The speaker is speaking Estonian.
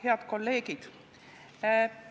Head kolleegid!